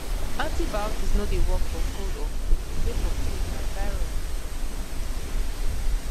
antibiotics no dey work for cold or flu sake of say na virus dey cause dem